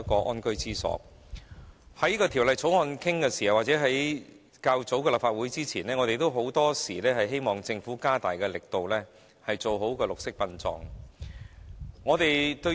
無論在討論這項《條例草案》時或較早前的立法會會議上，我們均曾表示，希望政府可以加大力度做好綠色殯葬。